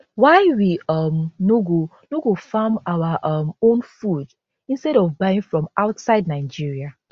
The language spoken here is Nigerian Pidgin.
why we um no go no go farm our um own food instead of buying from outside nigeria